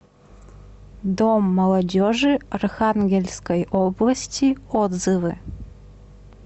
дом молодежи архангельской области отзывы